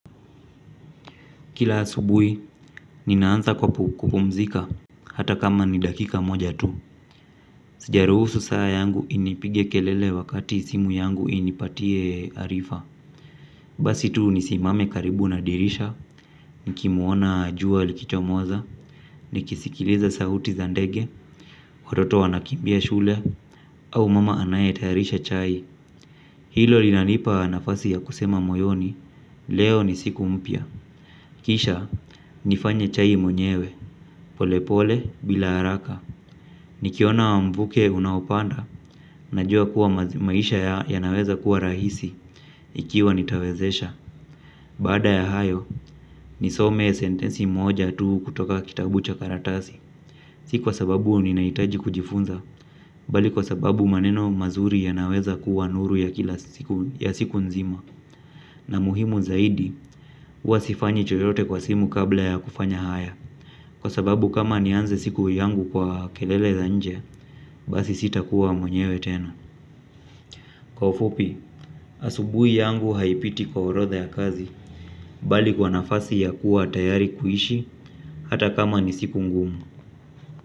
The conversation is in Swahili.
Kila asubuhi, ninaanza kwa kupumzika, hata kama ni dakika moja tu. Sijaruhusu saa yangu inipige kelele wakati simu yangu inipatie arifa. Basi tu nisimame karibu na dirisha, nikimuona jua likichomoza, nikisikiliza sauti za ndege, watoto wanakimbia shule, au mama anayetayarisha chai. Hilo linanipa nafasi ya kusema moyoni, leo ni siku mpya. Kisha, nifanye chai mwenyewe, polepole bila haraka. Nikiona wa mvuke unaopanda, najua kuwa maisha yanaweza kuwa rahisi, ikiwa nitawezesha. Baada ya hayo, nisome sentensi moja tu kutoka kitabu cha karatasi. Si kwa sababu ninaitaji kujifunza, bali kwa sababu maneno mazuri yanaweza kuwa nuru ya siku nzima. Na muhimu zaidi, huwa sifanyi chochote kwa simu kabla ya kufanya haya. Kwa sababu kama nianze siku yangu kwa kelele za nje basi, sita kuwa mwenyewe tena. Kwa ufupi, asubuhi yangu haipiti kwa orodha ya kazi, bali kwa nafasi ya kuwa tayari kuishi, hata kama ni siku ngumu.